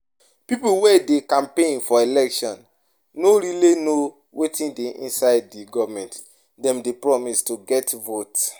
Pipo wey dey campaign for election no really know wetin dey inside di government dem dey promise to get vote